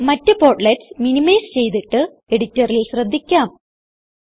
ഇപ്പോൾ മറ്റ് portlets minimise ചെയ്തിട്ട് എഡിറ്ററിൽ ശ്രദ്ധിക്കാം